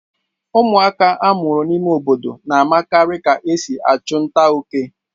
Ụmụaka a mụrụ n'ime obodo na-makarị ka e si achụ nta óké.